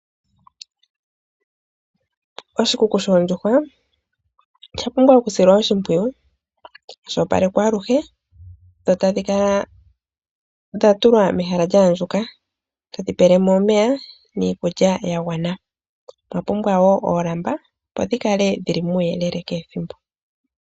Oshikuku shoondjuhwa osha pumbwa okusilwa oshinkwiyu sha opalekwa alushe dho tadhitukwa megaka lyaandjuka, todhipelemo omeya niikulya yagwana. Omwapumbewa wo oolamba, opo dhikale muuyeleke kehi ethimbo.